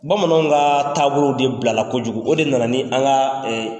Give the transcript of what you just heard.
Bamananw ka taabolo de bilala kojugu o de nana ni an ka